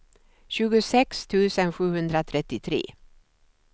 tjugosex tusen sjuhundratrettiotre